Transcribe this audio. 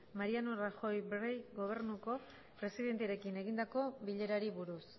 mariano rajoy brey gobernuko presidentearekin egindako bilerari buruz